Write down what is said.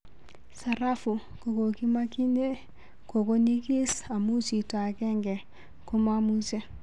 sarafu kokokimakinye koko nyikis amu jito angenge komamuche